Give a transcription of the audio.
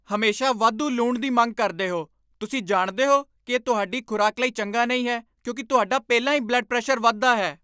ਹਮੇਸ਼ਾ ਵਾਧੂ ਲੂਣ ਦੀ ਮੰਗ ਕਰਦੇ ਹੋ! ਤੁਸੀਂ ਜਾਣਦੇ ਹੋ ਕਿ ਇਹ ਤੁਹਾਡੀ ਖ਼ੁਰਾਕ ਲਈ ਚੰਗਾ ਨਹੀਂ ਹੈ ਕਿਉਂਕਿ ਤੁਹਾਡਾ ਪਹਿਲਾਂ ਹੀ ਬਲੱਡ ਪ੍ਰੈਸ਼ਰ ਵੱਧਦਾ ਹੈ।